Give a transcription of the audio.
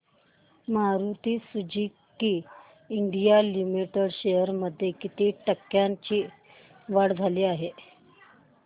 Maruti Suzuki India Limited shares मध्ये किती टक्क्यांची वाढ झाली